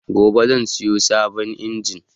Gobe zan siyo sabon injin